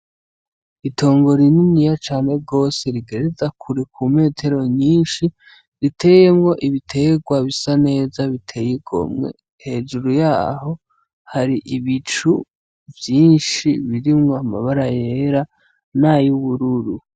Itongo rininiya cane gose rigereza kure, ku metero nyinshi, riteyemwo ibiterwa bisa neza biteye igomwe. Hejuru yaho hari ibicu vyinshi birimwo amabara yera n'ayubururu.